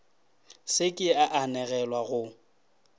se ke a anegelwa go